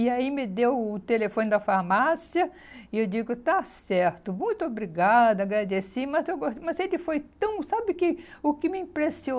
E aí me deu o telefone da farmácia e eu digo, está certo, muito obrigada, agradeci, mas eu gos mas ele foi tão... sabe o que o que me